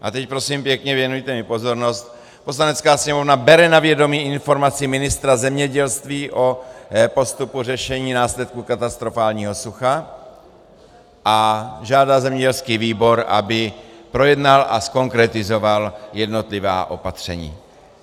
A teď, prosím pěkně, věnujte mi pozornost: Poslanecká sněmovna bere na vědomí informaci ministra zemědělství o postupu řešení následků katastrofálního sucha a žádá zemědělský výbor, aby projednal a zkonkretizoval jednotlivá opatření.